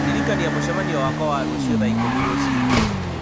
ndirikania mũcemanio wakwa wa rũciũ thaa ikũmi rũci-inĩ